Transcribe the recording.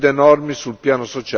e della sicurezza.